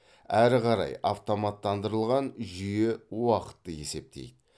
әрі қарай автоматтандырылған жүйе уақытты есептейді